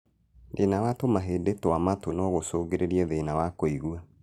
Thĩna wa tũhĩndĩ twa matũ no gũcũngĩrĩrie thĩna wa kũigua